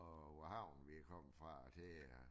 Og hvad havn vi kom fra og til